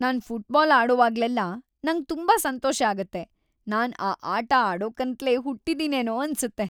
ನಾನ್ football ಆಡೋವಾಗ್ಲೆಲ್ಲ ನಂಗ್ ತುಂಬಾ ಸಂತೋಷ ಆಗತ್ತೆ. ನಾನ್ ಆ ಆಟ ಆಡೋಕಂತ್ಲೇ ಹುಟ್ಟಿದಿನೇನೋ ಅನ್ಸತ್ತೆ.